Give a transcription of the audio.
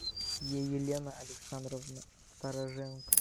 елена александровна стороженко